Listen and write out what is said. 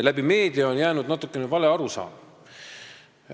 Läbi meedia on jäänud natukene vale arusaam.